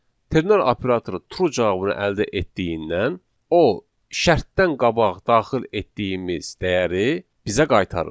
Ternar operatoru true cavabını əldə etdiyindən o şərtdən qabaq daxil etdiyimiz dəyəri bizə qaytarır.